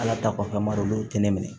Ala ta kɔfɛ a marɔkɛnɛ minɛ